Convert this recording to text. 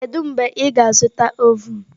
Kedu mgbe ị ga-azụta ovun?